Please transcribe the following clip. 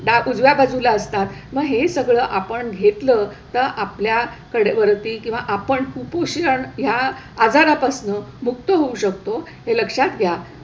डा उजव्या बाजूला असतात. मग हे सगळं आपण घेतलं तर आपल्याकडे वरती किंवा आपण कुपोषण ह्या आजारापासनं मुक्त होऊ शकतो हे लक्षात घ्या.